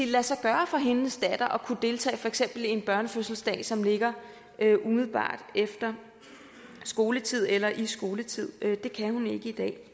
lade sig gøre for hendes datter at kunne deltage i for eksempel en børnefødselsdag som ligger umiddelbart efter skoletid eller i skoletiden det kan hun ikke i dag